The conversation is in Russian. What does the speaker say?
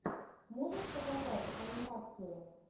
можешь показать анимацию